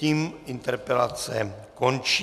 Tím interpelace končí.